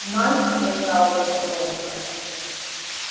найд сказал я негромко